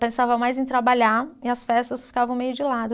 Pensava mais em trabalhar e as festas ficavam meio de lado.